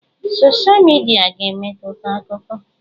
Sọsha midia ga-emetụta akụkọ.